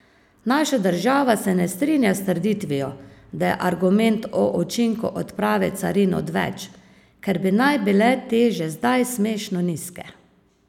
Naša država se ne strinja s trditvijo, da je argument o učinku odprave carin odveč, ker bi naj bile te že zdaj smešno nizke.